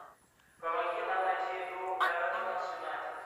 помоги нам найти игру эвертона с юнайтед